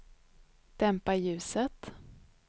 dämpa ljuset